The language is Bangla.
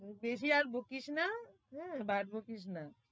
বেশি আর বকিস না উম ভাট বকিস না।